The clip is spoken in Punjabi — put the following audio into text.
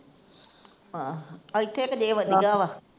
ਆਹ ਇੱਥੇ ਕੁ ਜੇ ਵੱਜਦਾ ਵਾ।